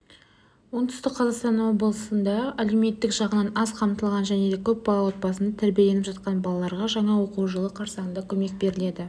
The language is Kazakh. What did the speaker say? оңтүстік қазақстан облысында әлеуметтік жағынан аз қамтылған және көп балалы отбасында тәрбиеленіп жатқан балаларға жаңа оқу жылы қарсаңында көмек беріледі